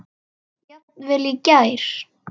Jafnvel í gær.